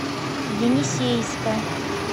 енисейска